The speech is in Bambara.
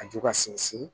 A ju ka sinsin